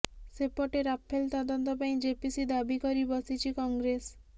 ସେପଟେ ରାଫେଲ ତଦନ୍ତ ପାଇଁ ଜେପିସି ଦାବି କରି ବସିଛି କଂଗ୍ରେସ